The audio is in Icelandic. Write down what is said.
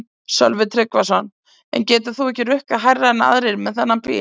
Sölvi Tryggvason: En getur þú ekki rukkað hærra en aðrir með þennan bíl?